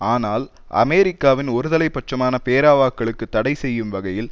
ஆனால் அமெரிக்காவின் ஒருதலை பட்சமான பேரவாக்களுக்கு தடை செய்யும் வகையில்